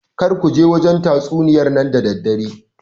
Kar kuje wajen tatsuniyar nan da daddare